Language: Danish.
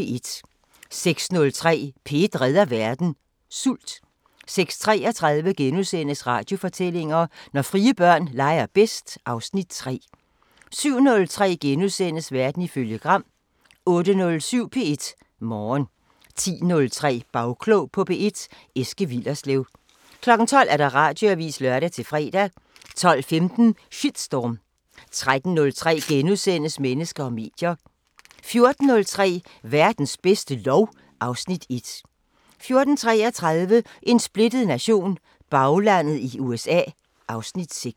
06:03: P1 redder verden: Sult 06:33: Radiofortællinger: Når frie børn leger bedst (Afs. 3)* 07:03: Verden ifølge Gram * 08:07: P1 Morgen 10:03: Bagklog på P1: Eske Willerslev 12:00: Radioavisen (lør-fre) 12:15: Shitstorm 13:03: Mennesker og medier * 14:03: Verdens bedste lov (Afs. 1) 14:33: En splittet nation – Baglandet i USA (Afs. 6)